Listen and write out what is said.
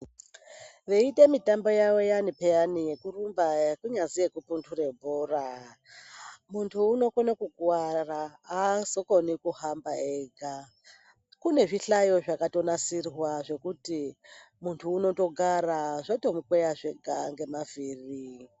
Veiite mitambo yavo iyani peya yekurumba kunyazi yekupunhura bhora muntu unokone kukuwara azokoni kuhamba ega kune zvihlayo zvakatogadzirwa kuti muntu unotogara zvotomukweya zvega ngemavhiri.